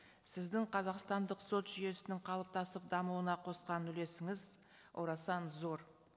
сіздің қазақстандық сот жүйесінің қалыптасып дамуына қосқан үлесіңіз орасан зор